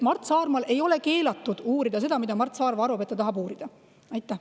Mart Saarmal ei ole keelatud uurida seda, mida Mart Saarma uurida tahab.